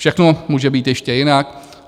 Všechno může být ještě jinak.